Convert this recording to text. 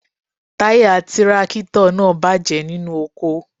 Táyà tírákítọ̀ náà bàjẹ́ nínú oko.